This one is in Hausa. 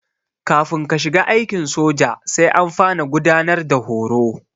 Kafin ka shiga aikin soja sai an fara gudanar da horo.